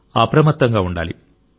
అప్రమత్తంగా ఉండాలి